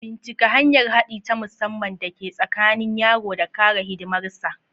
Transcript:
Bincika hanyar haɗi ta musamman da ke tsakanin yaro da kare hidimarsu.